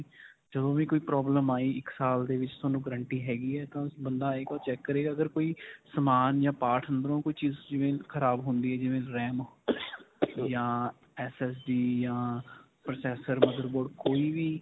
ਜਦੋਂ ਵੀ ਕੋਈ problem ਆਈ ਇੱਕ ਸਾਲ ਦੇ ਵਿੱਚ ਤੁਹਾਨੂੰ guarantee ਹੈਗੀ ਹੈ ਤਾਂ ਬੰਦਾ ਆਏਗਾ ਉਹ ਚੈਕ ਕਰੇਗਾ ਅਗਰ ਕੋਈ ਸਮਾਨ ਜਾਂ part ਅੰਦਰੋ ਕੋਈ ਚੀਜ਼. ਜਿਵੇਂ ਖਰਾਬ ਹੁੰਦੀ ਹੈ, ਜਿਵੇਂ RAM ਜਾਂ SSD ਜਾਂ processor, motherboard ਕੋਈ ਵੀ.